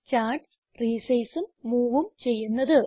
charts resizeഉം moveഉം ചെയ്യുന്നത്